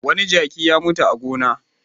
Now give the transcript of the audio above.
Wani jaki ya mutu a gona.